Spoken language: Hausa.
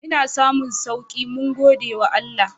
Ina samun sauki mun gode wa Allah.